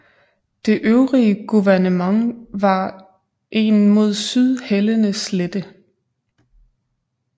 Det øvrige guvernement var en mod syd hældende slette